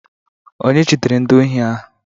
Onye jidere ndị ohi ahụ?